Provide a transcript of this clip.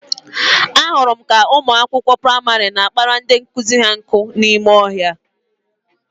Ahụrụ m ka ụmụ akwụkwọ praịmarị na-akpara ndị nkụzi ha nkụ n'ime ọhịa